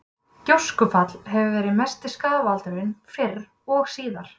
Gjóskufall hefur verið mesti skaðvaldurinn fyrr og síðar.